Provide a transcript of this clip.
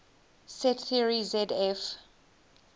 set theory zf